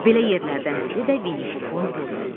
Belə yerlərdən biri də Vinipuxun burnu idi.